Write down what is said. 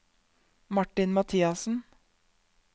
Martin Mathiassen